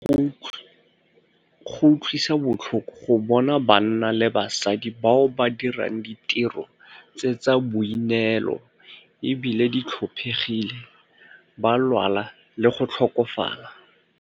Go utlwisa botlhoko go bona banna le basadi bao ba dirang ditiro tse tsa boineelo e bile di tlhophegile ba lwala le go tlhokafala.